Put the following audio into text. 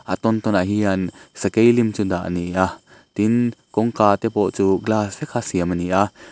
a tawn tawn ah hian sakei lim chu dah ni a tin kawngka te pawh chu glass vek a siam ani a.